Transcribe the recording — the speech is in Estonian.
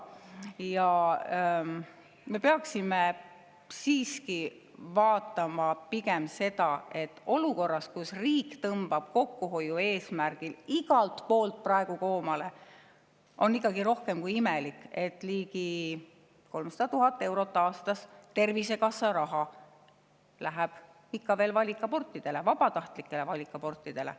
Me peaksime siiski, et olukorras, kus riik tõmbab kokkuhoiu eesmärgil praegu igalt poolt koomale, on rohkem kui imelik, et Tervisekassa eelarvest läheb ligi 300 000 eurot aastas ikka veel valikabortidele, vabatahtlikele valikabortidele.